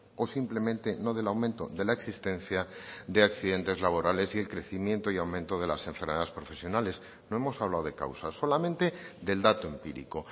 o simplemente no del aumento de la existencia de accidentes laborales y el crecimiento y aumento de las enfermedades profesionales no hemos hablado de causas solamente del dato empírico